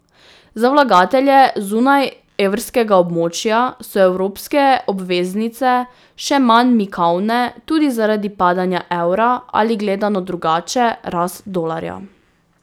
Za vlagatelje zunaj evrskega območja so evropske obveznice še manj mikavne tudi zaradi padanja evra ali, gledano drugače, rast dolarja.